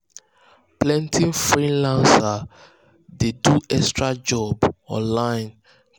plenty freelancers dey do extra job online